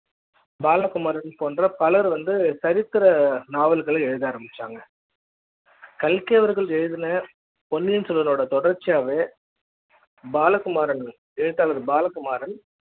பாலகுமாரன் போன்ற பலர் வந்து சரித்திர நாவல்களை எழுத ஆரம்பிச்சாங்ககல்கி அவர்கள் எழுதின பொன்னியின் செல்வன் ஓட தொடர்ச்சியாவே பாலகுமாரன் எழுத்தாளர் பாலகுமாரன்